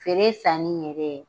Feere sanni yɛrɛ